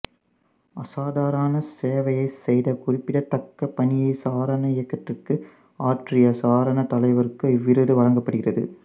அசாதாரண சேவை செய்த குறிப்பிடத்தக்கப் பணியை சாரண இயக்கத்திற்கு ஆற்றிய சாரண தலைவருக்கு இவ்விருது வழங்கப்படுகிறது